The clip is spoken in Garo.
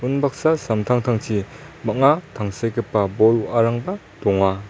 unbaksa samtangtangchi bang·a tangsekgipa bol wa·arangba donga.